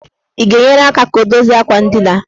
Ị ga-enyere aka ka o dozie akwa ndina?